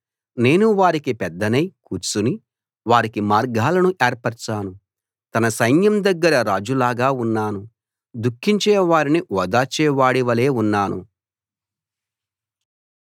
నేను వారికి పెద్దనై కూర్చుని వారికి మార్గాలను ఏర్పరచాను తన సైన్యం దగ్గర రాజులాగా ఉన్నాను దుఃఖించే వారిని ఓదార్చే వాడి వలే ఉన్నాను